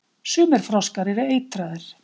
Sumir froskar eru eitraðir.